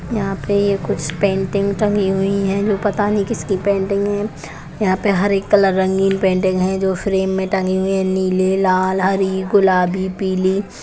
यहाँ पे कुछ पेंटिंग टंगी हुई है जो पता नहीं किसकी पेंटिंग है यहाँ पर हर एक कलर रंगीन पेंटिंग है जो फ्रेम मे तंगी हुई है जो नीली लाल हरी गुलाबी पीली--